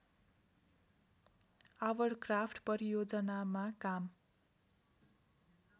hovercraft परियोजनामा काम